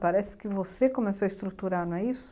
Parece que você começou a estruturar, não é isso?